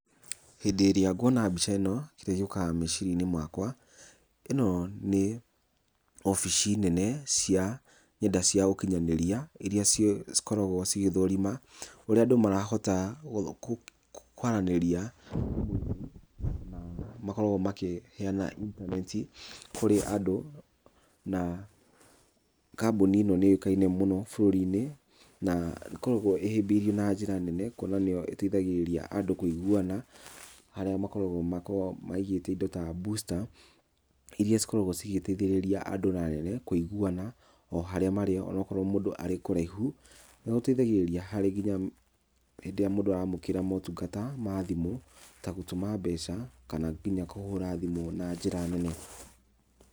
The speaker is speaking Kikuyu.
Hĩndĩ ĩrĩa nguona mbica ĩno, kĩrĩa gĩũkaga meciria - inĩ makwa, ĩno nĩ wobici nene, cia nenda cia ũkinyanĩria iria ciĩ cikoragwo cigĩthorima, ũrĩa ũndũ marahota gũtho kũ kwaranĩria makoragwo makĩheyana intaneti kũrĩ andũ, na kambuni ĩno nĩ yũĩkaine mũno bũrũri -inĩ, na ĩkoragwo ĩhĩbĩrio na njĩra nene, kwona nĩyo ĩteithagĩrĩrĩa andũ kwĩiguwana, harĩa makoragwo makoragwo maigĩte indo ta booster, iria cikoragwo cigĩteithĩrĩria andũ na nene kwĩiguwana, o harĩa marĩ, onokorwo mũndũ arĩ kũraihu, nĩ gũteithagĩrĩria harĩ nginya hĩndĩ ĩrĩa mũndũ aramukĩra motungata ma thimũ, tagũtũma mbeca, kana nginya kũhũra thimũ na njĩra nene.